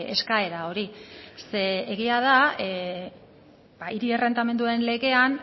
eskaera hori ze egia da hiri errentamenduen legean